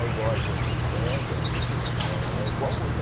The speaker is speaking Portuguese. É igual a gente pega... É igual hoje.